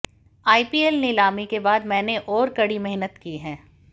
IPL नीलामी के बाद मैंने और कड़ी मेहनत की है